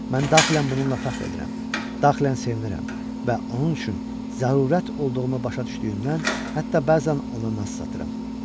Mən daxilən bununla fəxr edirəm, daxilən sevinirəm və onun üçün zərurət olduğumu başa düşdüyümdən, hətta bəzən ona naz satıram.